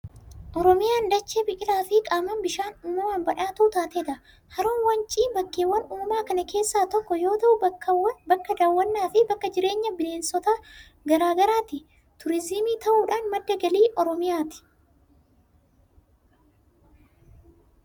Oromiyaan dachee biqilaa fi qaama bishaan uumamaan badhaatuu taatedha. Haroon wancii bakkeewwan uumamaa kana keessaa tokko yoo ta'u, bakka daawwannaa fi bakka jireenya bineensota garaa garaati. Turizimii ta'uudhaan madda galii Oromiyaati.